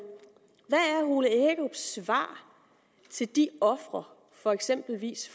ole hækkerups svar til de ofre for eksempelvis